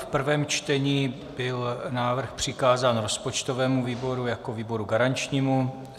V prvém čtení byl návrh přikázán rozpočtovému výboru jako výboru garančnímu.